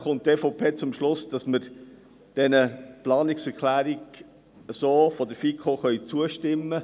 Die EVP kommt zum Schluss, sie könne der Planungserklärung der FiKo zustimmen.